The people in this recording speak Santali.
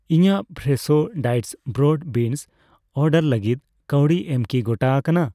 ᱤᱧᱟᱹᱜ fresh diced broad beans order ᱞᱟᱹᱜᱤᱫ ᱠᱟᱹᱣᱰᱤ ᱮᱢ ᱠᱤ ᱜᱚᱴᱟ ᱟᱠᱟᱱᱟ ?